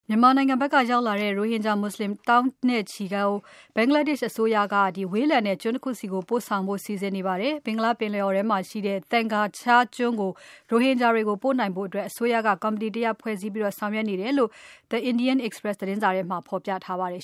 မြန်မာနိုင်ငံဘက်ကရောက်လာတဲ့ ရိုဟင်ဂျာမွတ်ဆလင် သောင်းနဲ့ချီကို ဘင်္ဂလားဒေရှ့်အစိုးရက ဝေးလံတဲ့ကျွန်းတခုဆီပို့ဆောင်ဖို့ စီစဉ်နေပါတယ်။ ဘင်္ဂလားပင်လယ်အော်ထဲမှာရှိတဲ့ Thengar Char ကျွန်းကို ရိုဟင်ဂျာတွေကို ပို့ဖို့အတွက် အစိုးရက ကော်မတီတရပ်ဖွဲ့ပြီးဆောင်ရွက်နေတယ်လို့ The Indian Express သတင်းစာမှာဖော်ပြထားပါတယ်